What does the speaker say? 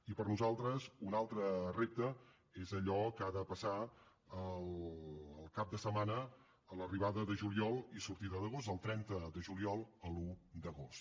i per nosaltres un altre repte és allò que ha de passar el cap de setmana de l’arribada de juliol i sortida d’agost del trenta de juliol a l’un d’agost